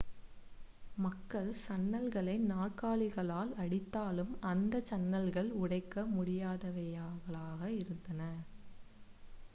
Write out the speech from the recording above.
மக்கள் சன்னல்களை நாற்காலிகளால் அடித்தாலும் அந்த சன்னல்கள் உடைக்க முடியாதவைகளாக இருந்தன